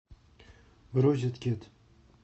розеткед